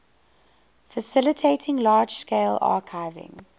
facilitating large scale archiving